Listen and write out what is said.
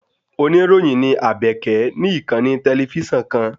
Oníròyìn ní Àbèkẹ̀ ní ìkànnì tẹlifísàn kan